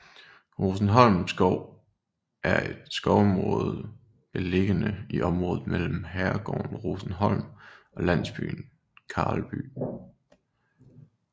Rosenholm Skov er et skovområde beliggende i området mellem herregården Rosenholm og landsbyen Karlby